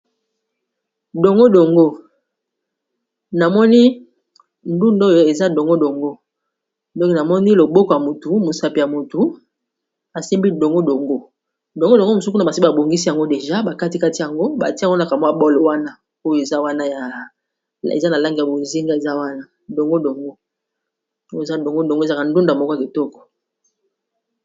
dongo dongo namoni ndunda oyo eza dongo dongo ndonke namoni loboko ya motu mosapi ya motu asimbi dongo dongo dongo dongo mosukuna basi babongisi yango deja bakati kati yango batia monaka mwa bole wana oyo eza na lange ya bozinga eza wanadongo dongo ezaka ndunda moko ya ketoko